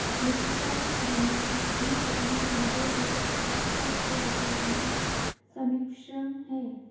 लेखिका की कहानियों में अपने अनुभव एवं आसपास के वातावरण का सम्मिश्रण है